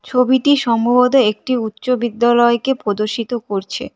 ছবিটি সম্ভবত একটি উচ্চ বিদ্যালয়কে প্রদর্শিত করছে।